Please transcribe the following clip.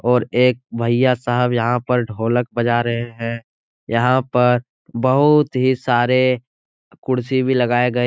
और एक भैया साहब यहाँ पर ढोलक बजा रहे है। यहाँ पर बहुत ही सारे कुर्सी भी लगाये गए --